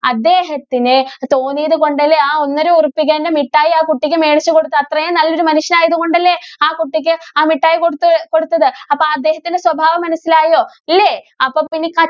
അദ്ദേഹത്തിന് തോന്നിയത് കൊണ്ടല്ലേ ആ ഒന്നര ഉറുപ്പികേന്‍റെ മിഠായി ആ കുട്ടിക്ക് മേടിച്ചു കൊടുത്തത്. അത്രേം നല്ല ഒരു മനുഷ്യനായത് കൊണ്ടല്ലേ ആ കുട്ടിക്ക് ആ മിഠായി കൊടുത്തത്, കൊടുത്തത്. അപ്പോ അദ്ദേഹത്തിന്‍റെ സ്വഭാവം മനസിലായോ? ഇല്ലേ? അപ്പോ പിന്നെ